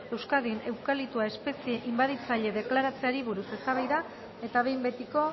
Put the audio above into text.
euskadin eukaliptoa espezie inbaditzaile deklaratzeari buruz eztabaida eta behin betiko